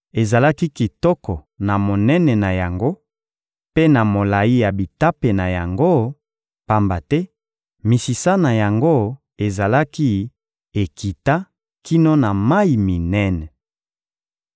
Ezalaki kitoko na monene na yango mpe na molayi ya bitape na yango, pamba te misisa na yango ezalaki ekita kino na mayi minene.